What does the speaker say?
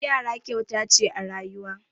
Yara kyauta ce a rayuwa.